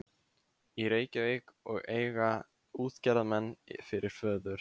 í Reykjavík og eiga útgerðarmann fyrir föður.